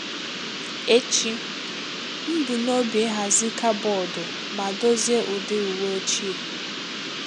Echi,m bu n'obi ihazi kaboodụ ma dozie ụdi ụwe ochie.